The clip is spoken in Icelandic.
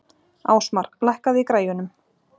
Ásmar, lækkaðu í græjunum.